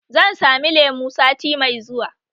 Zan sami lemu sati mai zuwa